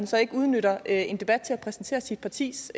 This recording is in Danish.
så ikke udnytter en debat til at præsentere sit partis